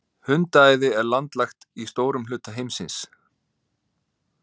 Hundaæði er landlægt í stórum hluta heimsins.